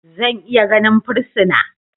Zan iya ganin fursuna?